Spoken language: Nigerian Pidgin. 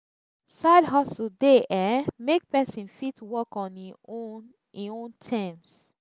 side hustle de um make persin fit work on in own in own terms